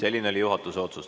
Selline oli juhatuse otsus.